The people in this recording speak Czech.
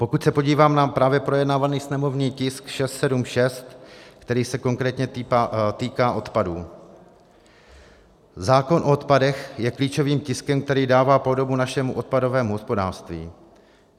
Pokud se podívám na právě projednávaný sněmovní tisk 676, který se konkrétně týká odpadů, zákon o odpadech je klíčovým tiskem, který dává podobu našemu odpadovému hospodářství.